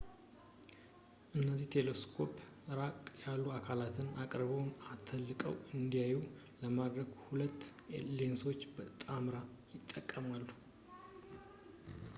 እነዚህ ቴሌስኮፖች ራቅ ያሉ አካላትን አቅርበውና አተልቀው እንዲታዩ ለማድረግ ሁለት ሌንሶችን በጣምራነት ይጠቀማሉ